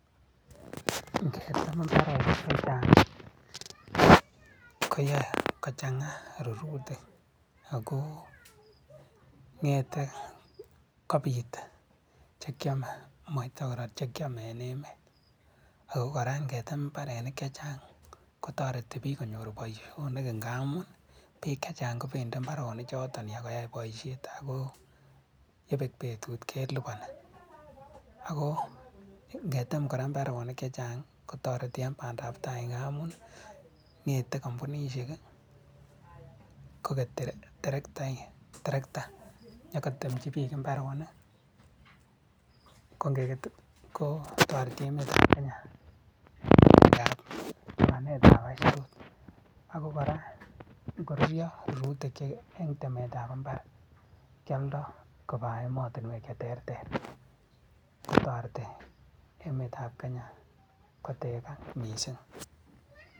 Ingetem mbarenik chechang koyoe kochang'a rurutik akoo ng'ete kopit chekyome moite koror chekiome en emet, ako kora ngetem mbarenik chechang kotoreti biik konyor boisionik ngamun biik chechang kobendi mbaronichoton iyakoyai boisiet ako yebek betut kelipani. ako ngetem kora mbaronik chechang kotoreti en pandaptai ngamun ngetei kompunishek koket terekta nyokotemchi biik mbarenik, kongoket kotoreti emetab Kenya ngap lipanetab aisurut, ako kora ngorurio rurutik en temetab mbar kyoldo kopaa emotinwek cheterter kotoreti emetab Kenya kotekak mising.